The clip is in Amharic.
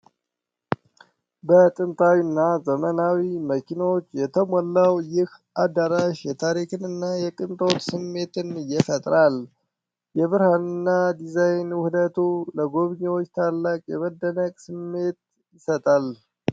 በጥንታዊና ዘመናዊ መኪናዎች የተሞላው ይህ አዳራሽ የታሪክንና የቅንጦት ስሜትን ይፈጥራል ። የብርሃንና ዲዛይን ውህደቱ ለጎብኚዎች ታላቅ የመደነቅ ስሜት ይሰጣል ።